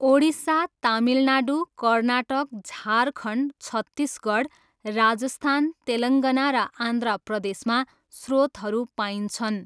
ओडिसा, तमिलनाडु, कर्नाटक, झारखण्ड, छत्तिसगढ, राजस्थान, तेलङ्गाना र आन्ध्र प्रदेशमा स्रोतहरू पाइन्छन्।